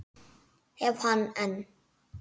Hef hann enn.